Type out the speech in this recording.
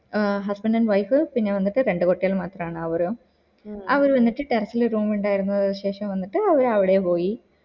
ah husband and wife പിന്നെ വന്നിട്ട് രണ്ട് കുട്ടികൾ മാത്രാണ് അവറും അവര് വന്നിട്ട് ടെറസ്സ് ല് room ഇണ്ടായിരുന്നു ശേഷം വന്നിട്ട് അവര് അവിടെ പോയി